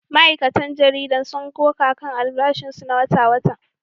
Ma’aikatan jaridar sun koka kan albashinsu na wata-wata